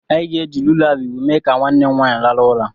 Anyị ga-eji lulabaị mee ka nwanne m nwaanyị rahụ ụra..